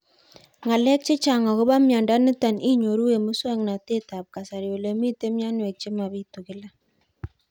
Ng'alek chechang' akopo miondo nitok inyoru eng' muswog'natet ab kasari ole mito mianwek che mapitu kila